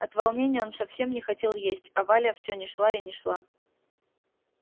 от волнения он совсем не хотел есть а валя все не шла и не шла